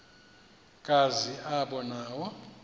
kazi aba nawo